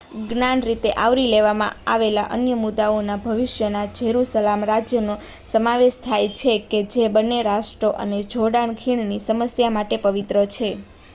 જ્ઞાત રીતે આવરી લેવામાં આવેલા અન્ય મુદાઓમાં ભવિષ્યના જેરુસલામ રાજ્યનો સમાવેશ થાય છે કે જે બંને રાષ્ટ્રો અને જોર્ડન ખીણની સમસ્યા માટે પવિત્ર છે